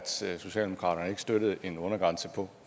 socialdemokraterne ikke støttede en undergrænse på